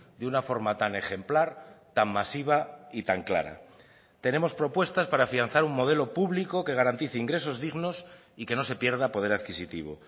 de una forma tan ejemplar tan masiva y tan clara tenemos propuestas para afianzar un modelo público que garantice ingresos dignos y que no se pierda poder adquisitivo